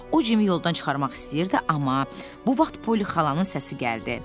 O Cimi yoldan çıxarmaq istəyirdi, amma bu vaxt poli xalanın səsi gəldi.